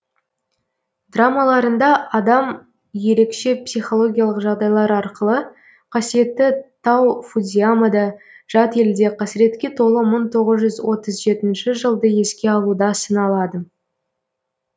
драмаларында адам ерекше психологиялық жағдайлар арқылы қасиетті тау фудзиямада жат елде қасіретке толы мың тоғыз жүз отыз жетінші жылды еске алуда сыналады